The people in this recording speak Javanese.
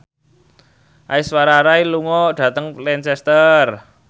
Aishwarya Rai lunga dhateng Lancaster